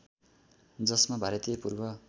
जसमा भारतीय पूर्व